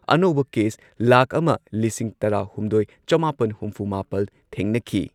ꯑꯅꯧꯕ ꯀꯦꯁ ꯂꯥꯈ ꯑꯃ ꯂꯤꯁꯤꯡ ꯇꯔꯥꯍꯨꯝꯗꯣꯏ ꯆꯃꯥꯄꯟ ꯍꯨꯝꯐꯨꯃꯥꯄꯜ ꯊꯦꯡꯅꯈꯤ ꯫